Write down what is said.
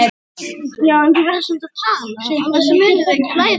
ÞETTA KLÓR!